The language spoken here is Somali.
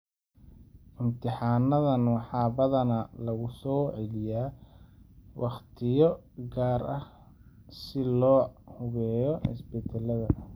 Imtixaanadan waxaa badanaa lagu soo celiyaa waqtiyo gaar ah si loo hubiyo isbedelada.